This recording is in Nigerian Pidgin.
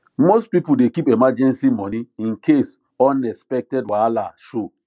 most people dey keep emergency money in case unexpected wahala show